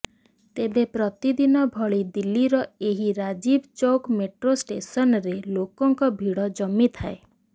ତେବେ ପ୍ରତିଦିନ ଭଳି ଦିଲ୍ଲୀର ଏହି ରାଜୀବ ଚୌକ୍ ମେଟ୍ରୋ ଷ୍ଟେସନରେ ଲୋକଙ୍କ ଭିଡ ଜମିଥାଏ